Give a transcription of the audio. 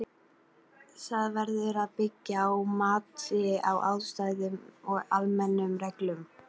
Það verður að byggja á mati á aðstæðum og almennum reglum.